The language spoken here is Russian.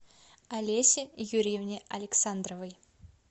олесе юрьевне александровой